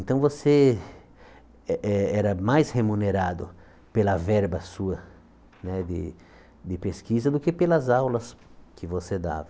Então você eh eh era mais remunerado pela verba sua né de de pesquisa do que pelas aulas que você dava.